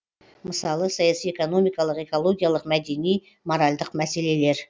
мысалы саяси экономикалық экологиялық мәдени моральдық мәселелер